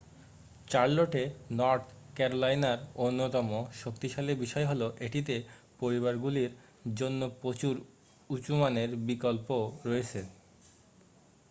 চার্লোটে north ক্যারোলাইনার অন্যতম শক্তিশালী বিষয় হলো এটিতে পরিবারগুলির জন্য প্রচুর উচ্চ মানের বিকল্প রয়েছে